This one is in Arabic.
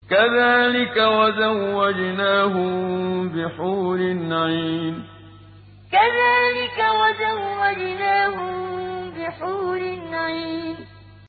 كَذَٰلِكَ وَزَوَّجْنَاهُم بِحُورٍ عِينٍ كَذَٰلِكَ وَزَوَّجْنَاهُم بِحُورٍ عِينٍ